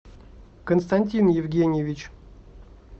константин евгеньевич